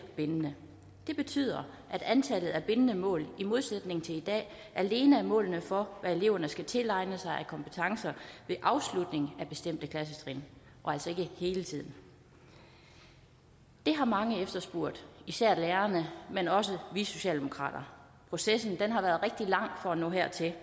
bindende det betyder at antallet af bindende mål i modsætning til i dag alene er målene for hvad eleverne skal tilegne sig af kompetencer ved afslutningen af bestemte klassetrin og altså ikke hele tiden det har mange efterspurgt især lærerne men også vi socialdemokrater processen for at nå hertil